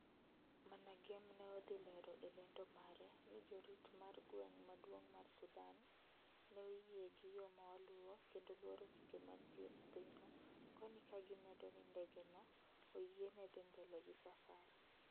MANAGEM ne odhi lero e lendo mare ni jorit mar gweng maduong mar Sudan neoyie gi yoo mawaluo kendo luoro chike manitie e pinyno koni kagimedo ni ndege no oyiene dhi mbele gi safar